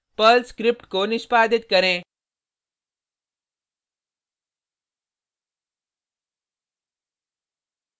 Perl script को निष्पादित करें